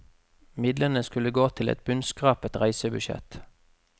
Midlene skulle gått til et bunnskrapet reisebudsjett.